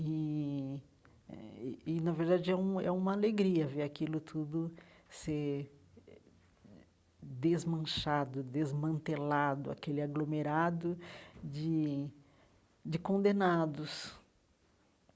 E eh e e, na verdade, é um é uma alegria ver aquilo tudo ser eh desmanchado, desmantelado, aquele aglomerado de de condenados.